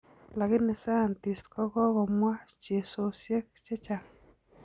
Lakini scientists kokokomwaa chesosiek chechang'